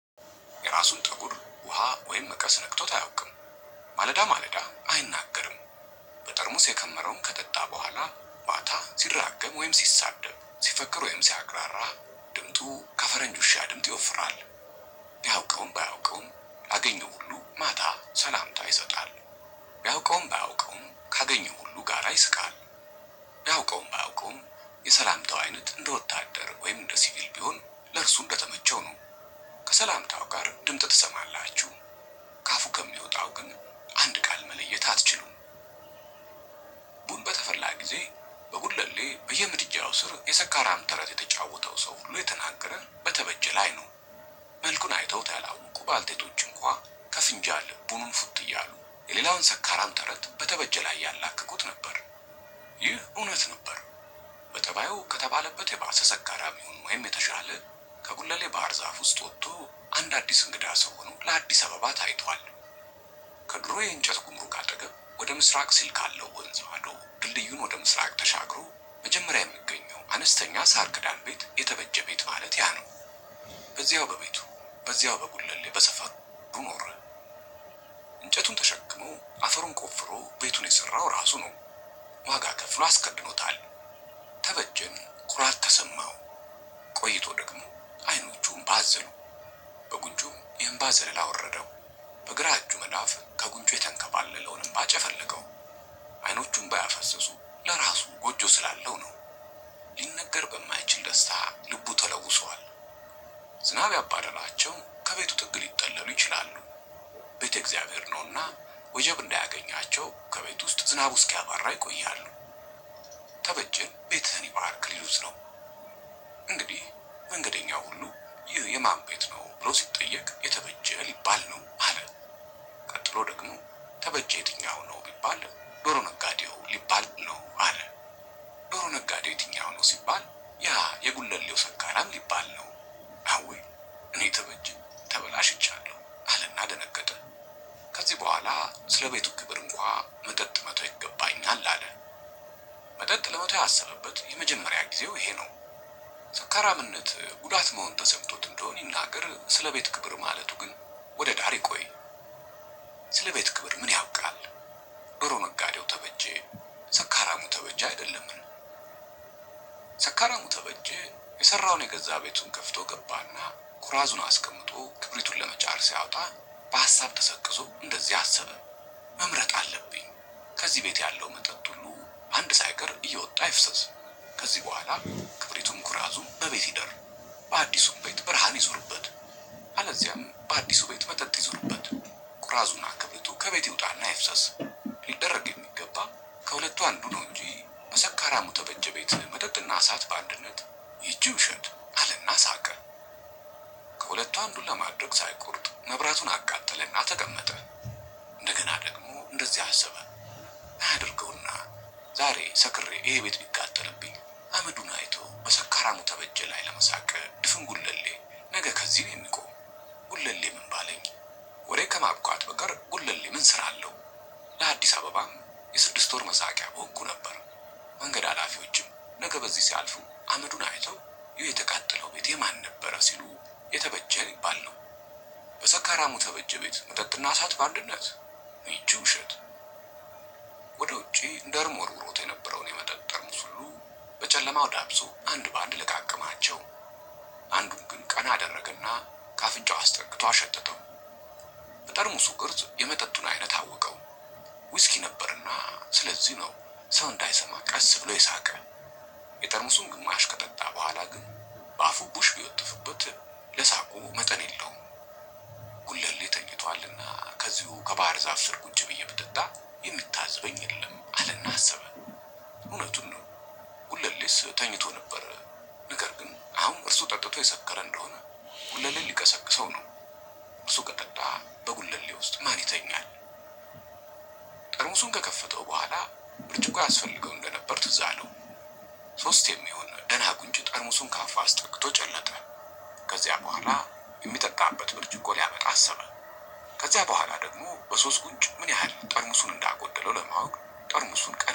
የራሱን ፀጉር ውሃ ወይም መቀስ ነክቶት አያቅም ማለዳ ማለዳ አይናገርም። በጠርሙስ የከመረውን ከጠጣ በኋላ ማታ ሲራገም ወይም ሲሳደብ ሲፈክር ወይም ሲያቅራራ ድምጡ ከፈረንጅ ውሻ ድምጥ ይወፍራል። ቢያውቀውም ባያውቀውም ላገኘው ሁሉ ማታ ሰላምታ ይሰጣል። ቢያውቀውም ባያውቀውም ካገኘው ሁሉ ጋራ ይስቃል። ቢያውቀውም ባያውቀውም የሰላምታው አይነት እንደ ወታደር ወይም እንደ ሲቪል ቢሆን ለእርሱ እንደተመቸው ነው። ከሰላምታው ጋር ድምጥ ትሰማላችሁ። ከአፉ ከሚወጣው ግን አንድ ቃል መለየት አትችሉም። በተፈላ ጊዜ በጉለሌ በየምድጃው ስር የሰካራም ተረት የተጫወተው ሰው ሁሉ የተናገረ በተበጀ ላይ ነው። መልኩን አይተውት ያላወቁ ባልቴቶች እንኳን ከፍንጃል ቡኑ ፉት እያሉ የሌላውን ሰካራም ተረት በተበጀ ላይ ያላክኩት ነበር። ይህ እውነት ነበር። በጠባዩ ከተባለበት የባሰ ሰካራም ይሁን ወይም የተሻለ ከጉለሌ ባህር ዛፍ ውስጥ ወጥቶ አንድ አዲስ እንግዳ ሰው ሆኖ ለአዲስ አበባ ታይቷል። ከድሮ የእንጨት ጉምሩክ አጠገብ ወደ ምስራቅ ሲል ካለው ወንዝ ማዶ ድልድዩን ወደ ምስራቅ ተሻግሮ መጀመሪያ የሚገኘው አነስተኛ ሳር ክዳን ቤት የተበጀ ቤት ማለት ያ ነው። በዛ በቤቱ በዛ በጉለሌ በሰፈሩ እንጨቱን ተሸክሞ አፈሩን ቆፍሮ ቤቱን የሰራው እራሱ ነው። ዋጋ ከፍሎ አስከድኖታል። ተበጀም ኩራት ተሰማው። ቆይቶ ደግሞ አይኖቹ እምባ አዘሉ። በጉንጩም የእንባ ዘለላ አወረደው። በግራ እጁ መዳፍ ከጉንጩ የተንከባለለውን እንባ ጨፈለቀው። አይኖቹ እንባ ያፈሰሱ ለራሱ ጎጆ ስላለው ነው። ሊነገር በማይችል ደስታ ልቡ ተለውሰዋል። ዝናብ ያባረራቸው ከቤቱ ጥግ ሊጠለሉ ይችላሉ። ቤት የእግዚአብሔር ነውና ወጀብ እንዳያገኛቸው ከቤት ውስጥ ዝናቡ እስኪያባራ ይቆያሉ። ተበጀን ቤትህን ይባርክ ሊሉት ነው። እንግዲህ መንገደኛው ሁሉ ይህ የማን ቤት ነው ብሎ ሲጠየቅ የተበጀ ሊባል ነው አለ። ቀጥሎ ደግሞ ተበጀ የትኛው ነው ቢባል ዶሮ ነጋዴው ሊባል ነው አለ። ዶሮ ነጋዴው የትኛው ነው ሲባል ያ የጉለሌው ሰካራም ሊባል ነው። አወይ እኔ ተበጀ ተበላሽ ቻለሁ አለና ደነገጠ። ከዚህ በኋላ ስለቤቱ ክብር እንኳን መጠጥ መተው ይገባኛል አለ። መጠጥ ለመተው ያሰበበት የመጀመሪያ ጊዜው ይሄ ነው። ሰካራምነት ጉዳት መሆን ተሰምቶት እንደሆን ይናገር ስለቤት ክብር ማለት ግን ወደዳር ይቆይ። ስለ ቤት ክብር ምን ያውቃል? ዶሮ ነጋዴው ተበጀ ሰካራሙ ተበጀ አይደለምን? ሰካራሙ ተበጀ የሰራውን የገዛ ቤቱን ከፍቶ ገባና ኩራዙን አስቀምጦ ክብሪቱን ለመጫር ሲያወጣ በሀሳብ ተሰቅዞ እንደዚህ አሰበ። መምረጥ አለብኝ። ከዚህ ቤት ያለው መጠጥ ሁሉ አንድ ሳይቀር እየወጣ ይፍሰስ። ከዚህ ቡኋላ ክብሪቱም ኩራዙም በቤት ይደር። አዲሱም ቤት ብርሃን ይዙርበት። አለዚያም በአዲሱ ቤት መጠጥ ይዙርበት። ኩራዙና ክብሪቱ ከቤት ይውጣና ይፍሰስ። ሊደረግ የሚገባ ከሁለቱ አንዱ ነው እንጂ በሰካራሙ ተበጀ ቤት መጠጥና እሳት በአንድነት ይቺ ውሸት አለና ሳቀ። ከሁለቱ አንዱን ለማድረግ ሳይቆርጥ መብራቱን አቃጠለና ተቀመጠ እንደገና ደግሞ እንደዚህ አሰበ። አያድርገውና ዛሬ ሰክሬ ይሄ ቤት ቢቃጠልብኝ አመዱን አይቶ በሰካራሙ ተበጀ ላይ ለመሳቅ ድፍን ጉለሌ ነገ ከዚህ ነው የሚቆመው። ጉለሌ ምን ባለኝ ወሬ ከማብቃት በቀር ጉለሌ ምን ስራ አለው? ለአዲስ አበባም የስድስት ወር መሳቂያ በሆንኩ ነበር። መንገድ አላፊዎችም ነገ በዚህ ሲያልፉ አመዱን አይተው ይህ የተቃጠለው ቤቴ የማን ነበረ ሲሉ የተበጀ ሊባል ነው። በሰካራሙ ተበጀ ቤት ምጠጥ እና እሳት በአንድነት ይቺ ውሸት ወደ ውጪ እንደውም ወርውሮት የነበረውን የመጠጥ ጠርሙስ ሁሉ በጨለማው ዳብሶ አንድ በአንድ ለቃቀማቸው። አንዱን ግን ቀና አደረገና ከአፍንጫው አስጠግቶ አሸተተው። በጠርሙሱ ቅርጽ የመጠጡን አይነት አወቀው። ውስኪ ነበርና ስለዚህ ነው ሰው እንዳይሰማ ቀስ ብሎ ይሳቀ። የጠርሙሱን ግማሽ ከጠጣ በኋላ ግን በአፉ ቡሽ ቢወትፍበት ለሳቁ መጠን የለውም። ጉለሌ ተኝቷልና ከዚሁ ከባህር ዛፍ ስር ቁጭ ብዬ ብጠጣ የሚታዘበኝ የለም አለና አሰበ። እውነቱን ነው። ጉለሌስ ተኝቶ ነበር ነገር ግን አሁን እርሱ ጠጥቶ የሰከረ እንደሆን ጉለሌን ሊቀሰቅስው ነው። እሱ ከጠጣ በጉለሌ ውስጥ ማን ይተኛል? ጠርሙሱን ከከፈተው ቡኋላ ብርጭቆ ያስፈልገው እንደነበር ትዝ አለው። ሶስት የሚሆን ደህና ጉንጭ ጠርሙሱን ከአፉ አስጠግቶ ጨለጠ። ከዚያ በኋላ የሚጠጣበት ብርጭቆ ሊያመጣ አሰበ። ከዚያ በኋላ ደግሞ በሶስት ጉንጭ ምን ያህል ጠርሙሱን እንዳጎደለው ለማወቅ ጠርሙሱን ቀለና